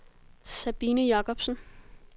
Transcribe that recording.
Sabine Jacobsen